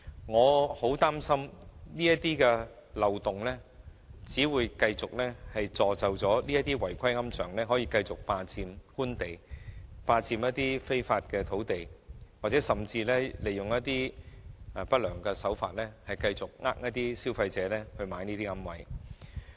我很擔心這漏洞會繼續助紂違規龕場繼續霸佔官地，非法佔用土地，甚至利用不良手法繼續欺騙消費者購買這些違規龕位。